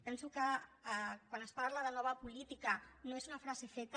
penso que quan es parla de nova política no és una frase feta